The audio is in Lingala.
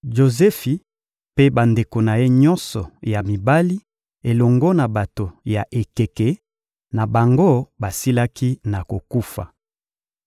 Jozefi mpe bandeko na ye nyonso ya mibali elongo na bato ya ekeke na bango basilaki na kokufa.